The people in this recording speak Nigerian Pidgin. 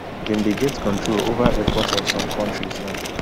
dem dey get control over airports of some kontris now